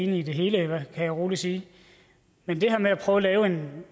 enige i det hele kan jeg rolig sige men det her med at prøve at lave en